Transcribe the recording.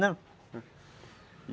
Não.